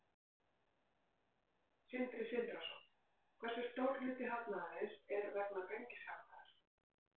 Sindri Sindrason: Hversu stór hluti hagnaðarins er vegna gengishagnaðar?